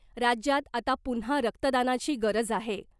राज्यात आता पुन्हा रक्तदानाची गरज आहे .